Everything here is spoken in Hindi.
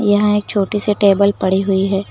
यहां एक छोटी सी टेबल पड़ी हुई है।